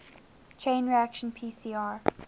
chain reaction pcr